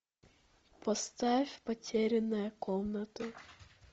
поставь потерянная комната